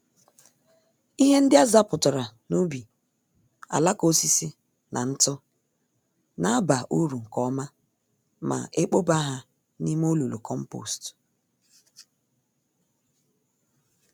Ihe ndị azapụtara n'ubi, alaka osisi na ntụ na aba uru nke ọma ma ekpoba ha n'ime olulu kompost.